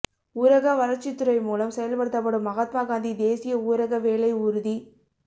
ஊரக வளா்ச்சித் துறை மூலம் செயல்படுத்தப்படும் மகாத்மா காந்தி தேசிய ஊரக வேலை உறுதித்